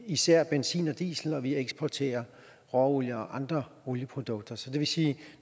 især benzin og diesel og vi eksporterer råolie og andre olieprodukter så det vil sige at